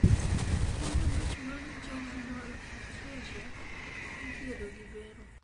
tuo nyombich mar jejunal atresia ithiedho gi bero